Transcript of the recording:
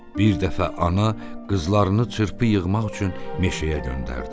Bir dəfə ana qızlarını çırpı yığmaq üçün meşəyə göndərdi.